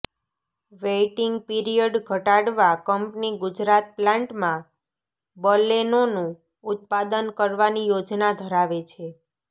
waiting period ઘટાડવા company Gujarat પ્લાન્ટમાં બલેનોનું ઉત્પાદન કરવાની યોજના ધરાવે છે